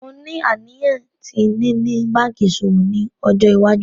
Mo ni aniyan ti nini banki iṣowo ni ọjọ iwaju.